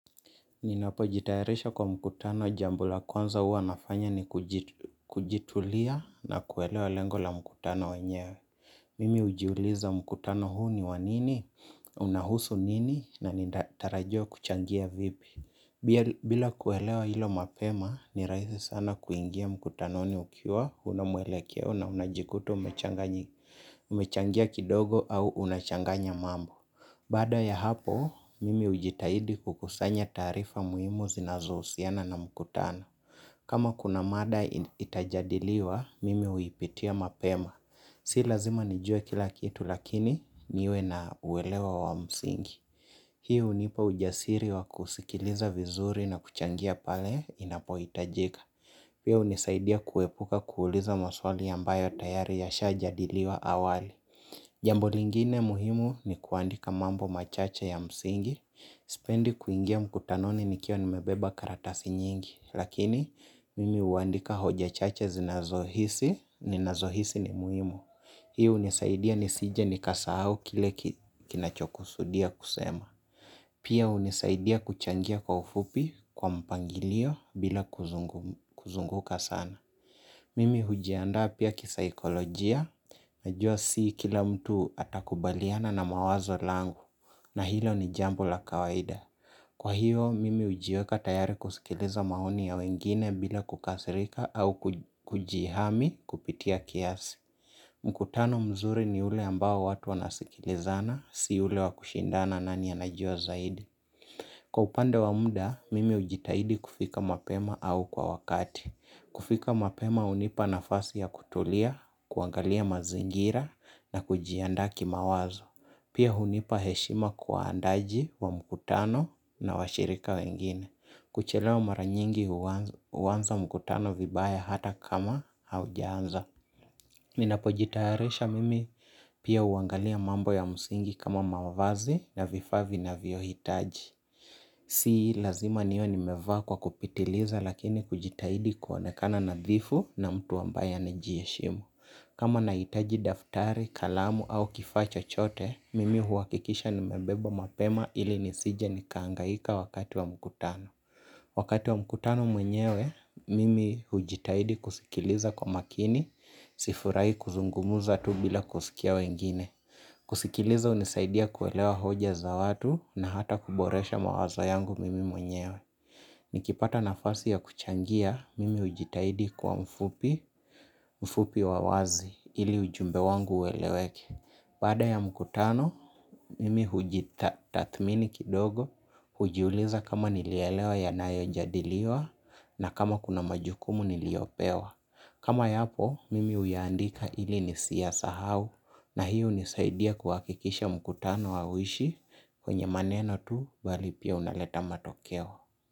Ninapo jitayarisha kwa mkutano jamb la kwanza hua nafanya ni kujitulia na kuelewa lengo la mkutano wenyewe. Mimi hujiuliza mkutano huu ni wanini, unahusu nini na ninatarajiwa kuchangia vipi. Bila kuelewa hilo mapema, nirahisi sana kuingia mkutano ukiwa, huna mwelekeo na unajikuta umechangia kidogo au unachanganya mambo. Baada ya hapo, mimi hujitahidi kukusanya taarifa muhimu zinazo husiana na mkutano. Kama kuna mada itajadiliwa, mimi huipitia mapema. Si lazima nijue kila kitu lakini niwe na uelewa wa msingi hii hunipa ujasiri wa kusikiliza vizuri na kuchangia pale inapo hitajika. Pia hunisaidia kuepuka kuuliza maswali ambayo tayari yashajadiliwa awali. Jambo lingine muhimu ni kuandika mambo machache ya msingi, sipendi kuingia mkutanoni nikiwa nimebeba karatasi nyingi. Lakini, mimi huandika hoja chache zinazohisi ninazohisi ni muhimu. Hii hunisaidia nisije ni kasahau kile kinacho kusudia kusema. Pia hunisaidia kuchangia kwa ufupi kwa mpangilio bila kuzunguka sana. Mimi huji andaa pia kisaikolojia, najua si kila mtu atakubaliana na mawazo langu, na hilo ni jambo la kawaida. Kwa hiyo, mimi hujiweka tayari kusikiliza maoni ya wengine bila kukasirika au kujihami kupitia kiasi. Mkutano mzuri ni ule ambao watu wanasikilizana, si ule wakushindana na nani anajua zaidi. Kwa upande wa mda, mimi hujitahidi kufika mapema au kwa wakati. Kufika mapema hunipa nafasi ya kutulia, kuangalia mazingira na kujiandaa kimawazo. Pia hunipa heshima kwa waandaji wa mkutano na washirika wengine kuchelewa maranyingi huanza mkutano vibaya hata kama haujaanza. Ninapo jitayarisha mimi pia huangalia mambo ya msingi kama mavazi na vifaa vinavyo hitaji si lazima niwe nimeva kwa kupitiliza lakini kujitahidi kuonekana nadhifu na mtu ambaye anajiheshimu kama nahitaji daftari, kalamu au kifaa chochote, mimi huhakikisha nimebeba mapema ili nisije nikahangaika wakati wa mkutano wakati wa mkutano mwenyewe, mimi hujitahidi kusikiliza kwa makini, sifurahi kuzungumuza tu bila kusikia wengine. Kusikiliza hunisaidia kuelewa hoja za watu na hata kuboresha mawaza yangu mimi mwenyewe. Nikipata nafasi ya kuchangia, mimi hujitahidi kuwa mfupi, ufupi wa wazi ili ujumbe wangu ueleweke. Baada ya mkutano, mimi hujithatmini kidogo, hujiuliza kama nilielewa yanayo jadiliwa na kama kuna majukumu niliopewa. Kama yapo, mimi huyaandika ili nisiya sahau na hiyo hunisaidia kuhakikisha mkutano hauishi kwenye maneno tu bali pia unaleta matokeo.